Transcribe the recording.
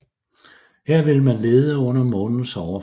Her vil man lede under Månens overflade